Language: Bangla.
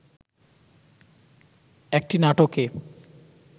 একটি নাটকে